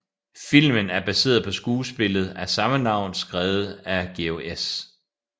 Filmen er baseret på skuespillet af samme navn skrevet af George S